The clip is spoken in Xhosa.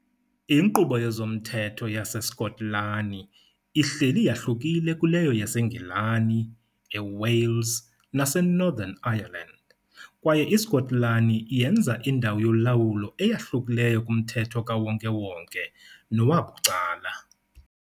Inkqubo yezomthetho yaseSkotlani ihleli yahlukile kuleyo yaseNgilani, eWales naseNorthern Ireland, kwaye iSkotlani yenza indawo yolawulo eyahlukileyo kumthetho kawonke-wonke nowabucala.